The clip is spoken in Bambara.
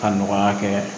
Ka nɔgɔya kɛ